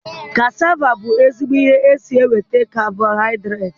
Cassava bụ ezigbo ihe esi enweta kabohaịdret.